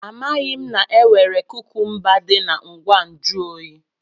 Amaghị m na e nwere kukumba dị na ngwa nju oyi.